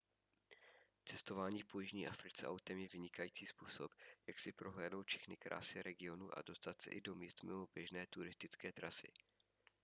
cestování po jižní africe autem je vynikající způsob jak si prohlédnout všechny krásy regionu a dostat se i do míst mimo běžné turistické trasy